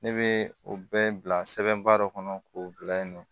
Ne bɛ o bɛɛ bila sɛbɛnba dɔ kɔnɔ k'o bila yen nɔ